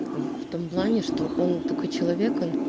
в том плане что он такой человек он